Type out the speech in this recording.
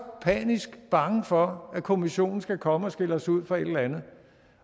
panisk bange for at kommissionen skal komme og skælde os ud for et eller andet